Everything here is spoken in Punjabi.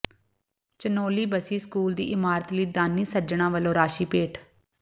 ਚਨੌਲੀ ਬਸੀ ਸਕੂਲ ਦੀ ਇਮਾਰਤ ਲਈ ਦਾਨੀ ਸੱਜਣਾਂ ਵਲੋਂ ਰਾਸ਼ੀ ਭੇਟ